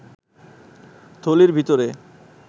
থলির ভিতরে